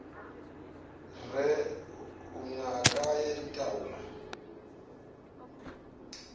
re o ngaka ya ditaola